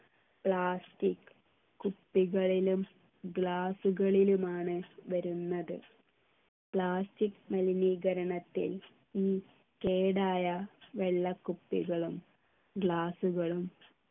plastic കുപ്പികളിലും glass കളിലുമാണ് വരുന്നത് plastic മലിനീകരണത്തിൽ ഉം കേടായ വെള്ളക്കുപ്പികളും glass കളും